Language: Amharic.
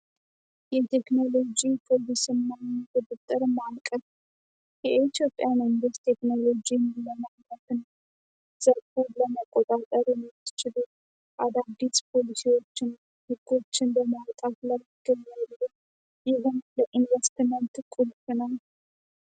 የቴክኖሎ ጂ የኢትዮጵያ መንግስት ቴክኖሎጂ ዎችን በማወጣ